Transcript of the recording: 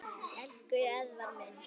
Elsku Eðvarð minn.